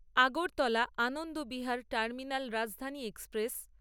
Agartala Anand Vihar terminal Rajdhani express